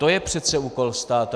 To je přece úkol státu.